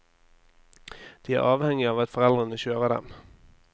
De er avhengige av at foreldrene kjører dem.